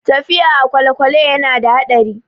Tafiya a kwalekwale ya na da haɗari